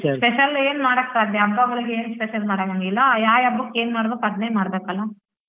Special ಏನ್ ಮಾಡಕ್ ಸಾಧ್ಯ ಹಬ್ಬಗಳ್ಗೆನ್ special ಮಾಡನಂಗಿಲ್ಲ ಎಲ್ಲಾ ಯಾವ್ ಹಬ್ಬಕ್ ಏನ್ಮಾಡ್ಬೇಕು ಅದ್ನೇ ಮಾಡ್ಬೆಕಲ್ವ.